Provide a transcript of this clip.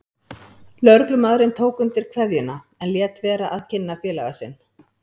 Lögreglumaðurinn tók undir kveðjuna en lét vera að kynna félaga sinn.